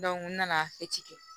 n nana kɛ